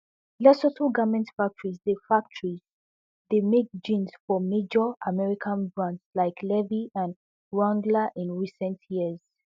lesotho garment factories dey factories dey make jeans for major american brands like levi and wrangler in recent years